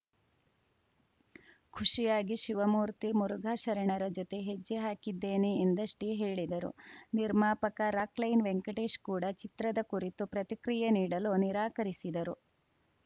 ಖುಷಿಯಾಗಿ ಶಿವಮೂರ್ತಿ ಮುರುಘಾಶರಣರ ಜೊತೆ ಹೆಜ್ಜೆ ಹಾಕಿದ್ದೇನೆ ಎಂದಷ್ಟೇ ಹೇಳಿದರು ನಿರ್ಮಾಪಕ ರಾಕ್‌ ಲೈನ್‌ ವೆಂಕಟೇಶ್‌ ಕೂಡ ಚಿತ್ರದ ಕುರಿತು ಪ್ರತಿಕ್ರಿಯೆ ನೀಡಲು ನಿರಾಕರಿಸಿದರು